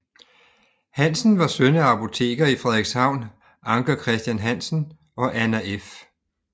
Hansen var søn af apoteker i Frederikshavn Anker Christian Hansen og Anna f